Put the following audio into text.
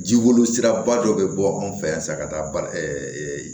Jiboli siraba dɔ bɛ bɔ anw fɛ yan sisan ka taa ba